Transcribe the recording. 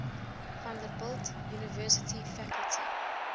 vanderbilt university faculty